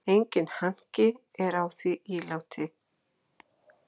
Enginn hanki er á því íláti.